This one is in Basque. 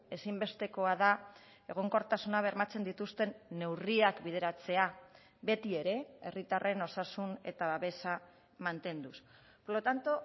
ezinbestekoa da egonkortasuna bermatzen dituzten neurriak bideratzea beti ere herritarren osasun eta babesa mantenduz por lo tanto